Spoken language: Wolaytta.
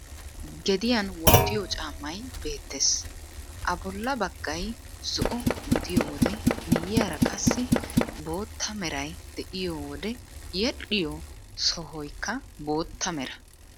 Gediyan wottiyo caammay beettees. A bolla baggay zo"o gidiyo wode miyyiyara qassi bootta meray de'iyo wode yedhdhiyo sohaykka bootta mera.